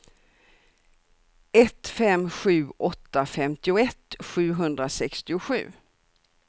ett fem sju åtta femtioett sjuhundrasextiosju